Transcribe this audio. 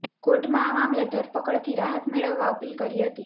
કોર્ટમાં આ મામલે ધરપકડથી રાહત મેળવવા અપીલ કરી હતી